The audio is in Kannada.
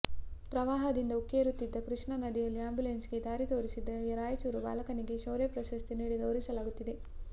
ಪ್ರವಾಹದಿಂದ ಉಕ್ಕೇರುತ್ತಿದ್ದ ಕೃಷ್ಣಾ ನದಿಯಲ್ಲಿ ಆ್ಯಂಬುಲೆನ್ಸಿಗೆ ದಾರಿ ದೋರಿಸಿದ್ದ ರಾಯಚೂರು ಬಾಲಕನಿಗೆ ಶೌರ್ಯ ಪ್ರಶಸ್ತಿ ನೀಡಿ ಗೌರವಿಸಲಾಗುತ್ತಿದೆ